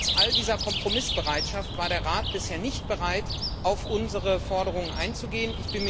Trotz all dieser Kompromissbereitschaft war der Rat bisher nicht bereit, auf unsere Forderungen einzugehen.